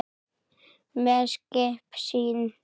með skip sín